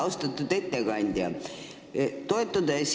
Austatud ettekandja!